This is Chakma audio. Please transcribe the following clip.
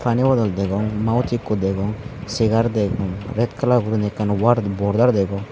pani bodol degong mouse ekko degong chegar degong red kalar goriney war border degong.